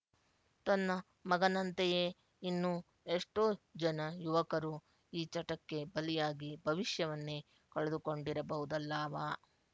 ತನ್ನ ಮಗನಂತೆಯೇ ಇನ್ನೂ ಎಷ್ಟೊ ಜನ ಯುವಕರು ಈ ಚಟಕ್ಕೆ ಬಲಿಯಾಗಿ ಭವಿಷ್ಯವನ್ನೆ ಕಳೆದುಕೊಂಡಿರಬಹುದಲ್ಲಾವಾ